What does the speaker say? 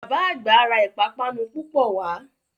Bàbá àgbà ra ìpápánu púpọ̀ wá